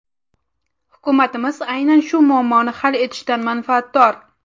Hukumatimiz aynan shu muammoni hal etishdan manfaatdor.